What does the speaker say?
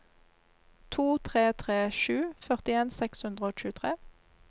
to tre tre sju førtien seks hundre og tjuetre